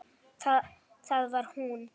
Þar var hún.